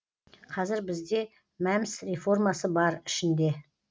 қазір бізде мәмс реформасы бар ішінде